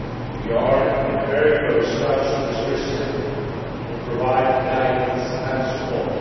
We are in very close touch with Priština to provide guidance and support.